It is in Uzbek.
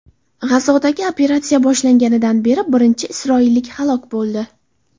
G‘azodagi operatsiya boshlanganidan beri birinchi isroillik halok bo‘ldi.